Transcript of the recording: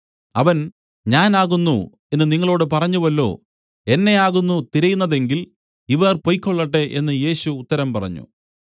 അവൻ ഞാൻ ആകുന്നു എന്നു നിങ്ങളോടു പറഞ്ഞുവല്ലോ എന്നെ ആകുന്നു തിരയുന്നതെങ്കിൽ ഇവർ പൊയ്ക്കൊള്ളട്ടെ എന്നു യേശു ഉത്തരം പറഞ്ഞു